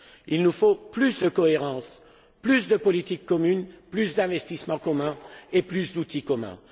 Il nous faut plus de cohérence, plus de politique commune, plus d'investissements communs et plus d'outils communs.